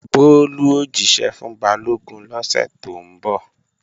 Bólú ó jíṣẹ́ fún Balógun lọ́sẹ̀ tó ń bọ̀